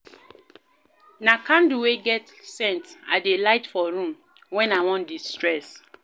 Na candle wey get scent I dey light for room wen I wan de-stress.